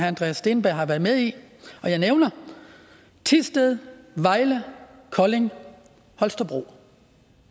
andreas steenberg har været med i og jeg nævner thisted vejle kolding holstebro